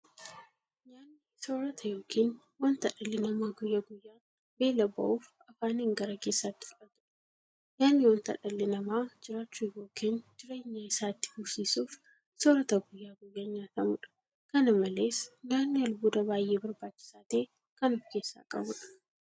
Nyaanni soorota yookiin wanta dhalli namaa guyyaa guyyaan beela ba'uuf afaaniin gara keessaatti fudhatudha. Nyaanni wanta dhalli namaa jiraachuuf yookiin jireenya isaa itti fufsiisuuf soorata guyyaa guyyaan nyaatamudha. Kana malees nyaanni albuuda baay'ee barbaachisaa ta'e kan ofkeessaa qabudha.